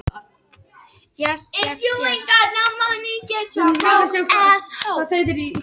Óvenju margir í gæsluvarðhaldi